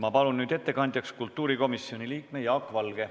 Ma palun nüüd ettekandjaks kultuurikomisjoni liikme Jaak Valge.